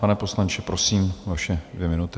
Pane poslanče, prosím, vaše dvě minuty.